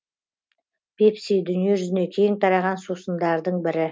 пепси дүние жүзіне кең тараған сусындардың бірі